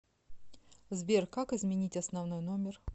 сбер как изменить основной номер